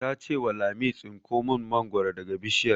Ta ce wa Lami 'Tsinko mun mangoro daga bishiyar'!